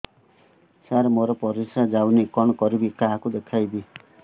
ସାର ମୋର ପରିସ୍ରା ଯାଉନି କଣ କରିବି କାହାକୁ ଦେଖେଇବି